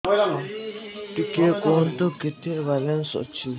ଟିକେ କୁହନ୍ତୁ କେତେ ବାଲାନ୍ସ ଅଛି